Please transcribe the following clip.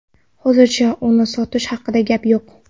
Hozircha uni sotish haqida gap yo‘q”.